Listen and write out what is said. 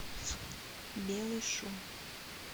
белый шум